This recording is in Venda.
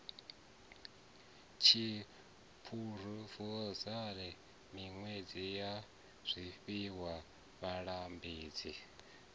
tshiphurofeshenaḽa minyikelo ya zwifhiwa vhalambedzi